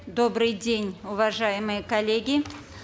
добрый день уважаемые коллеги